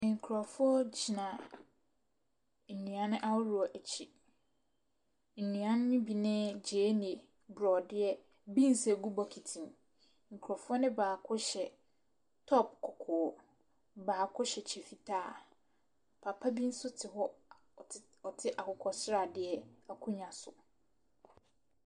Nkorɔfoɔ gyina nnuane ahodoɔ akyi. Nnuane ne bi ne gyeene, borɔdeɛ, biins a egu bokiti mu. Nkorɔfoɔ ne baako hyɛ tɔp kɔkɔɔ, baako hyɛ kyɛ fitaa. Papa bi nso te hɔ a ɔte akokɔ sradeɛ akonwa so.